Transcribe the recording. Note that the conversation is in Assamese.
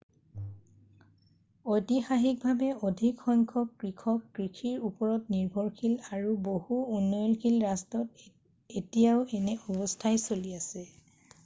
ঐতিহাসিকভাৱে অধিক সংখ্যক কৃষক কষিৰ ওপৰত নিৰ্ভৰশীল আৰু বহু উন্নয়নশীল ৰাষ্ট্ৰত এতিয়াও এনে অৱস্থাই চলি আছে